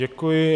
Děkuji.